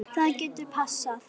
Það getur passað.